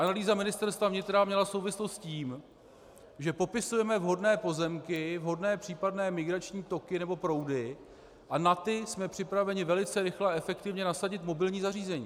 Analýza Ministerstva vnitra měla souvislost s tím, že popisujeme vhodné pozemky, vhodné případné migrační toky nebo proudy, a na ty jsme připraveni velice rychle a efektivně nasadit mobilní zařízení.